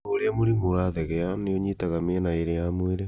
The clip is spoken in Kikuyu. O ũrĩa mũrimũ ũrathegea, nĩ ũnyitaga mĩena ĩrĩ ya mwĩrĩ